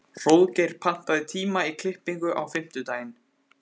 Hróðgeir, pantaðu tíma í klippingu á fimmtudaginn.